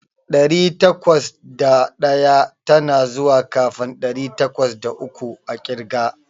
Ɗari takwas da ɗaya tana zuwa kafin ɗari takwas da uku a ƙirga.